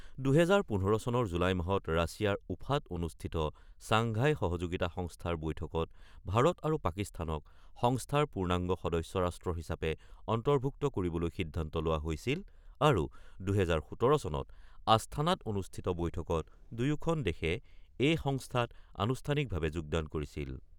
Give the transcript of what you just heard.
২০১৫ চনৰ জুলাই মাহত ৰাছিয়াৰ উফাত অনুষ্ঠিত চাংঘাই সহযোগিতা সংস্থাৰ বৈঠকত ভাৰত আৰু পাকিস্তানক সংস্থাৰ পূৰ্ণাংগ সদস্য ৰাষ্ট্ৰ হিচাপে অন্তৰ্ভুক্ত কৰিবলৈ সিদ্ধান্ত লোৱা হৈছিল আৰু ২০১৭ চনত আস্থানাত অনুষ্ঠিত বৈঠকত দুয়োখন দেশে এই সংস্থাত আনুষ্ঠানিকভাৱে যোগদান কৰিছিল।